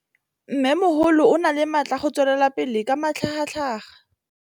Mmêmogolo o na le matla a go tswelela pele ka matlhagatlhaga.